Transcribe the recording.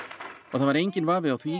það var enginn vafi á því